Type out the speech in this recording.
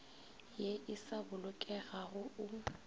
ye e sa bolokegago o